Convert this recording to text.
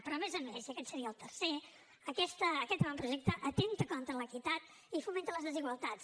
però a més a més i aquest seria el tercer aquest avantprojecte atempta contra l’equitat i fomenta les desigualtats